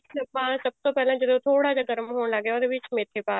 ਆਪਾਂ ਸਭ ਤੋਂ ਪਹਿਲਾਂ ਜਦੋਂ ਥੋੜਾ ਜਾ ਗਰਮ ਹੋਣ ਲੱਗ ਗਿਆ ਉਹਦੇ ਵਿੱਚ ਮੇਥੇ ਪਾ